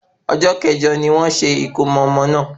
Ọjọ́ kẹ̀jo ni wọ́n ṣe ìkómo ọmọ náà